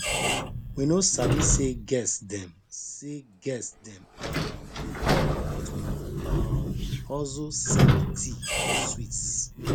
we no sabi say guest dem say guest dem um go come but we um hustle set tea and sweets